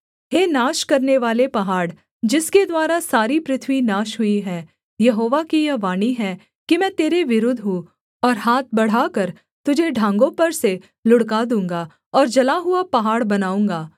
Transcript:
हे नाश करनेवाले पहाड़ जिसके द्वारा सारी पृथ्वी नाश हुई है यहोवा की यह वाणी है कि मैं तेरे विरुद्ध हूँ और हाथ बढ़ाकर तुझे ढाँगों पर से लुढ़का दूँगा और जला हुआ पहाड़ बनाऊँगा